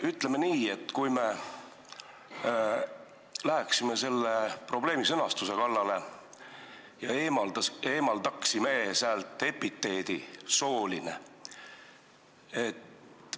Ütleme nii, et aga kui me läheksime selle probleemi sõnastuse kallale ja eemaldaksime säält epiteedi "sooline"?